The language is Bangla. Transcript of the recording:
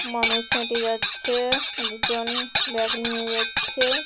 মানুষ হেঁটে যাচ্ছে-এ দুজন ব্যাগ নিয়ে যাচ্ছে ।